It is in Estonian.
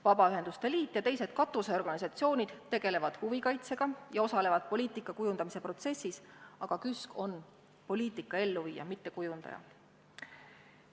Vabaühenduste Liit ja teised katusorganisatsioonid tegelevad huvikaitsega ja osalevad poliitika kujundamise protsessis, aga KÜSK on poliitika elluviija, mitte kujundaja.